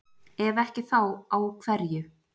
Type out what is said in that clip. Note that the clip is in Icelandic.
Ef ekki þá á hverju?